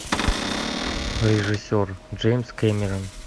режиссер джеймс кэмерон